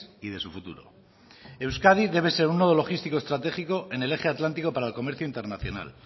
y de su futuro euskadi debe ser un logístico estratégico en el eje atlántico para el comercio internacional